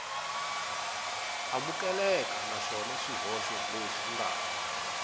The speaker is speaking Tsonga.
amukeleka naswona swihoxo leswi nga